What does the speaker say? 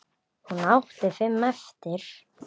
Hún átti fimm eftir.